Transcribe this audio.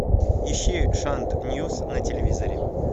ищи шант ньюс на телевизоре